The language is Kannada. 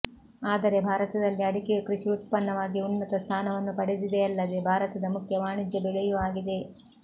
ಆದರೆ ಭಾರತದಲ್ಲಿ ಅಡಿಕೆಯು ಕೃಷಿ ಉತ್ಪನ್ನವಾಗಿ ಉನ್ನತ ಸ್ಥಾನವನ್ನು ಪಡೆದಿದೆಯಲ್ಲದೆ ಭಾರತದ ಮುಖ್ಯ ವಾಣಿಜ್ಯ ಬೆಳೆಯೂ ಆಗಿದೆ